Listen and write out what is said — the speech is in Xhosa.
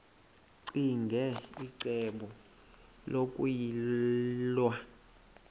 ccinge icebo lokuyilwa